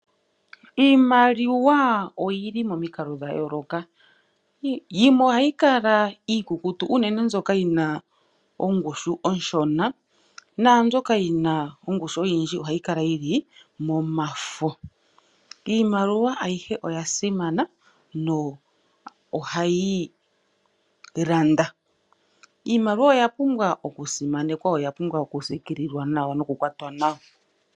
Iimaliwa oyili momikalo dha yooloka, yimwe ohayi kala iikukutu unene mbyoka yina ongushu onshona naambyoka yina ongushu oyindji ohayi kala yili momafo. Iimaliwa ayihe oya simana nohayi landa. Iimaliwa oya pumbwa oku simanekwa yo oya pumbwa oku siikililwa noku kwatwa nawa.